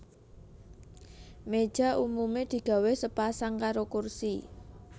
Méja umumé digawé sepasang karo kursi